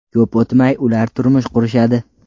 Ko‘p o‘tmay, ular turmush qurishadi.